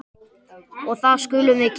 Og það skulum við gera.